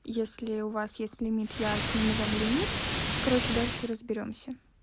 если у вас есть лимит я сниму вам лимит короче дальше разберёмся